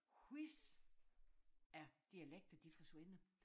Hvis æ dialekter de forsvinder